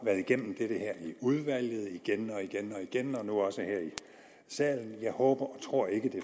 været igennem det her i udvalget igen og igen og igen og nu også her i salen jeg håber og tror ikke at